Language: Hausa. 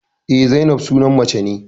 Eh, Zainab sunan mace ne